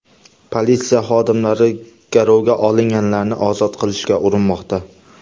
Politsiya xodimlari garovga olinganlarni ozod qilishga urinmoqda.